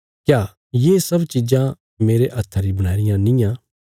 क्या ये सब चिज़ां मेरे हत्था री बणाई रियां निआं